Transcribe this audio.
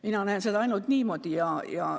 Mina näen seda ainult niimoodi.